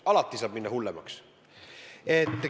Alati saab minna hullemaks.